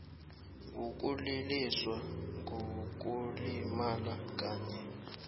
wokuliliswa ngokulimala kanye